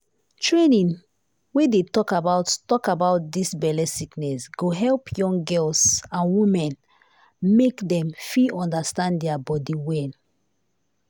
training wey dey talk about talk about dis belle sickness go help young girls and woman make dem fit understand dia bodi well.